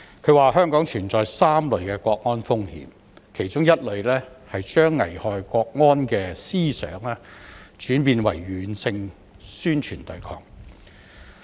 他指出香港存在3類國安風險，其中一類是將危害國安的思想轉變為軟性宣傳對抗。